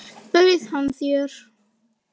Bauð hann þér?